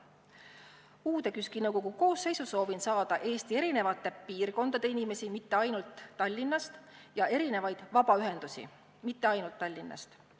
KÜSK-i uue nõukogu koosseisu soovin saada inimesi erinevatest Eesti piirkondadest, mitte ainult Tallinnast, ja erinevaid vabaühendusi, neidki mitte ainult Tallinnast.